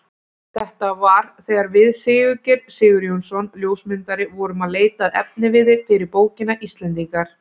Þetta var þegar við Sigurgeir Sigurjónsson ljósmyndari vorum að leita að efniviði fyrir bókina Íslendingar.